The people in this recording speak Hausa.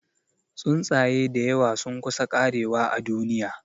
Tsuntsaye dayawa sun kusa karewa a duniya